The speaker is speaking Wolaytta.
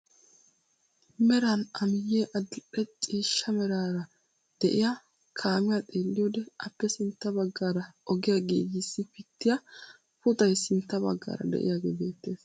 Meran a miyee adil'e ciishsha meraara de'iyaa kaamiyaa xeelliyoode appe sintta baggaara ogiyaa giigissi pittiyaa puxaay sintta baggaara de'iyaagee beettees.